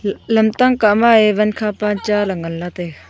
e lam tang kah ma e wan kha pa cha e nganla taga.